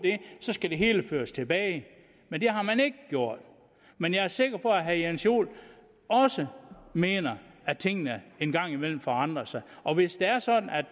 så skal det hele føres tilbage men det har man ikke gjort men jeg er sikker på at herre jens joel også mener at tingene en gang imellem forandrer sig og hvis det er sådan at